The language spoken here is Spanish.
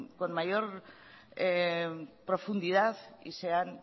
con mayor profundidad y sean